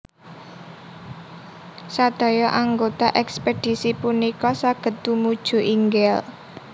Sedaya anggota ekspedisi punika saged tumuju inggil